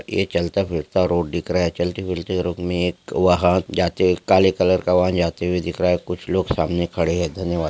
यह चलता फिरता रोड दिख रहा है चलती फिरती रोड मे एक वाहन जाते हुए काले कलर का वाहन जाते हुए दिख रहा है कुछ लोग सामने खड़े है धन्यवाद।